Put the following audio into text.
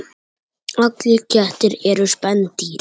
Dregur hana til sín.